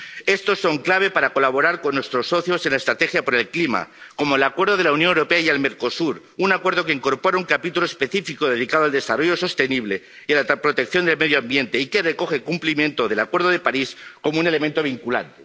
Estos son clave para colaborar con nuestros socios en la estrategia por el clima, como el Acuerdo de la Unión Europea y el Mercosur, un acuerdo que incorpora un capítulo específico dedicado al desarrollo sostenible y a la protección del medio ambiente, y que recoge el cumplimiento del Acuerdo de París como un elemento vinculante.